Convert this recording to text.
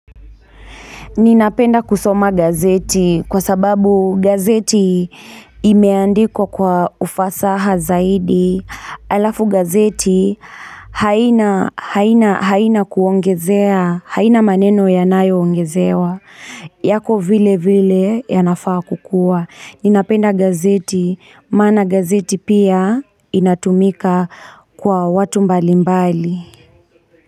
Ninapenda kusoma gazeti kwa sababu gazeti imeandikwa kwa ufasaha zaidi. Alafu gazeti haina haina kuongezea, haina maneno yanayongezewa. Yako vile vile ya nafaa kukua. Ninapenda gazeti, maana gazeti pia inatumika kwa watu mbali mbali.